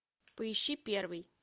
поищи первый